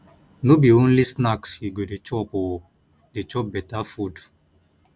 no be only snacks you go dey chop o dey chop beta food